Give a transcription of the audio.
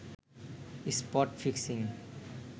spot fixing